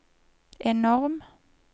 enorm